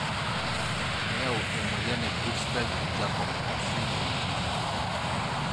Keyau emoyian e Creutzfeldt jakob(CJD)